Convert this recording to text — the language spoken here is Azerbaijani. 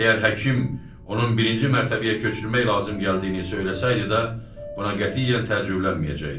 Və əgər həkim onun birinci mərtəbəyə köçürmək lazım gəldiyini söyləsəydi də, buna qətiyyən təəccüblənməyəcəkdi.